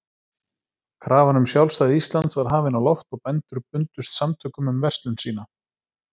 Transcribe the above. Krafan um sjálfstæði Íslands var hafin á loft, og bændur bundust samtökum um verslun sína.